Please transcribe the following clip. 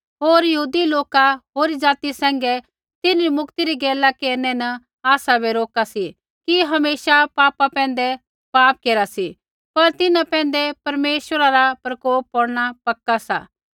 होर यहूदी लोका होरी ज़ाति सैंघै तिन्हरी मुक्ति री गैला केरनै न आसाबै रोका सी कि हमेशा पापा पैंधै पाप केरा सी पर तिन्हां पैंधै परमेश्वरा रा प्रकोप पौड़ना पक्का सा